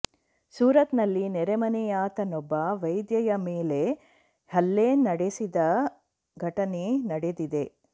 ಸೂರತ್ ನಲ್ಲಿ ನೆರೆಮನೆಯಾತನೊಬ್ಬ ವೈದ್ಯೆಯ ಮೇಲೆ ಹಲ್ಲೆ ನಡೆಸಿದ ಘಟನೆ ನಡೆದಿದೆ